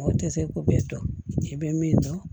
O tɛ se k'o bɛɛ dɔn i bɛ min dɔn